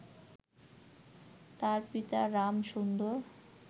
তার পিতা রামসুন্দর